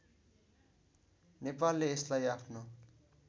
नेपालले यसलाई आफ्नो